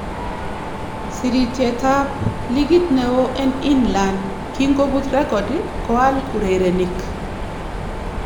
Sirityeetab ab likiit neon en England kinkobuut rekodii koaal urereniik.